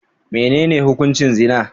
Menene hukuncin zina?